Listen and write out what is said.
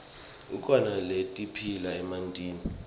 kukhona letiphila emantini